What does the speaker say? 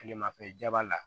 Tilemafɛla la